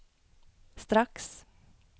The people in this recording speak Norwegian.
straks